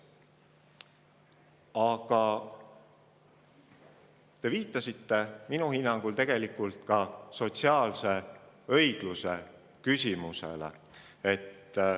Aga te viitasite minu arusaamist mööda ka sotsiaalse õigluse küsimusele.